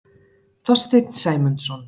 Þorstein Sæmundsson.